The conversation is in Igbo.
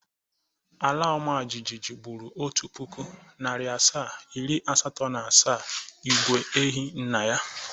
Alaọmajịjịjị gbụrụ otu pụkụ, narị asaa, iri asatọ na asaa igwe ehi nna ya.